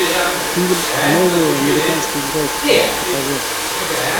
фильм новые американские граффити покажи